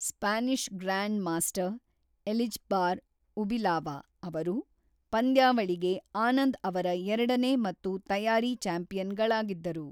Spanish grand master Elizbar Ubilava ಅವರು ಪಂದ್ಯಾವಳಿಗೆ ಆನಂದ್ ಅವರ ಎರಡನೇ ಮತ್ತು ತಯಾರಿ ಚ್ಯಾಂಪಿಯನ್‌ಗಳಾಗಿದ್ದರು.